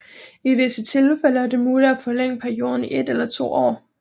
I visse tilfælde er det muligt at forlænge perioden i et eller to år